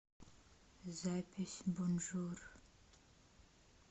запись бонжур